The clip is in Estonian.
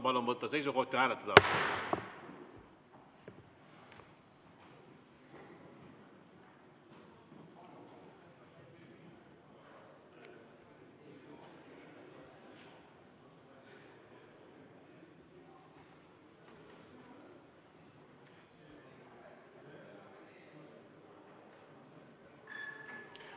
Palun võtta seisukoht ja hääletada!